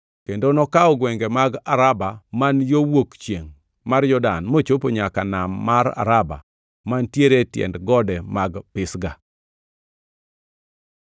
kendo nokawo gwenge mag Araba man yo wuok chiengʼ mar Jordan, mochopo nyaka Nam mar Araba mantiere e tiend gode mag Pisga.